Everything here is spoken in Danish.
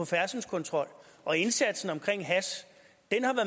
færdselskontrol og indsatsen omkring hash